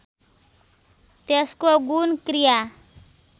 त्यसको गुण क्रिया